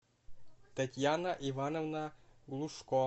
татьяна ивановна глушко